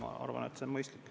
Ma arvan, et see on mõistlik.